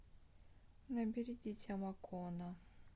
набери дитя макона